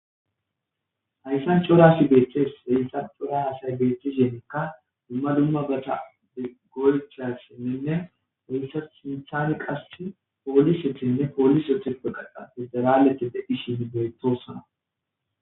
Hayssan corasi beeththes rensa cora hasay beeththe yeenekka dumma dumma gata de golchasinnenne wuysa sinthane qassi poolisetinne poolis etheppe qaddha isderaletide dhishinne beyetosona.